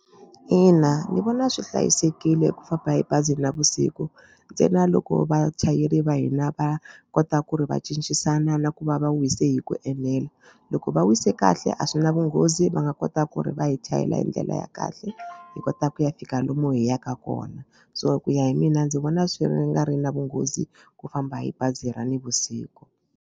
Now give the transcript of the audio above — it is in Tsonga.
Ina ni vona swi hlayisekile ku famba hi bazi navusiku ntsena loko vachayeri va hina va kota ku ri va cincisana na ku va va wise hi ku enela. Loko va wise kahle a swi na vunghozi va nga kota ku ri va hi chayela hi ndlela ya kahle hi kota ku ya fika lomu hi yaka kona so ku ya hi mina ndzi vona swi nga ri na vunghozi ku famba hi bazi ra navusiku.